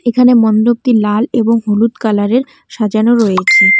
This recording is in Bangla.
এখানে মন্ডপটি লাল এবং হলুদ কালারের সাজানো রয়েছে।